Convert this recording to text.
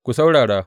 Ku saurara!